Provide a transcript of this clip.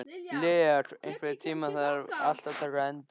Lea, einhvern tímann þarf allt að taka enda.